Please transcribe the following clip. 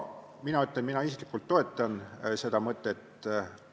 Mina isiklikult toetan seda mõtet.